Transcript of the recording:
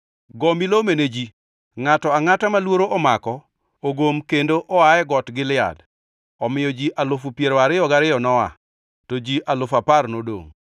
go milome ne ji ni, ‘Ngʼato angʼata ma luoro omako ogom kendo oa e Got Gilead.’ ” Omiyo ji alufu piero ariyo gariyo noa, to ji alufu apar nodongʼ.